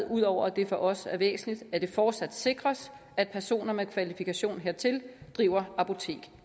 ud over at det for os er væsentligt at det fortsat sikres at personer med kvalifikationer hertil driver apotek